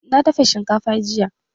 Na dafa shinkafa jiya